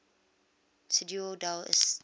ciudad del este